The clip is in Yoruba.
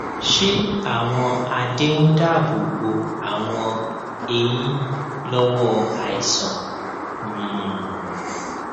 ṣé àwọn adé ń dáàbò bo àwọn eyín lówó àìsàn um